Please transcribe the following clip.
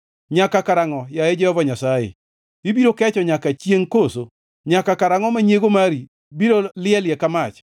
Nyaka karangʼo, yaye Jehova Nyasaye? Ibiro kecho nyaka chiengʼ koso? Nyaka karangʼo ma nyiego mari biro lielie ka mach?